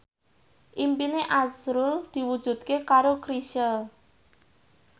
impine azrul diwujudke karo Chrisye